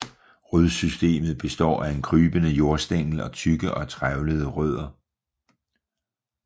Rodsystemet består af en krybende jordstængel og tykke og trævlede rødder